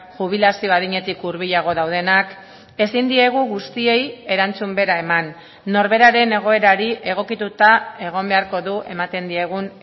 jubilazio adinetik hurbilago daudenak ezin diegu guztiei erantzun bera eman norberaren egoerari egokituta egon beharko du ematen diegun